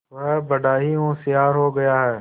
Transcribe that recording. वह बड़ा ही होशियार हो गया है